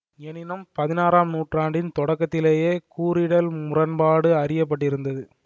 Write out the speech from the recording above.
எனினும் பதினாறாம் நூற்றாண்டின் தொடக்கத்திலேயே கூறிடல் முரண்பாடு அறிய பட்டிருந்தது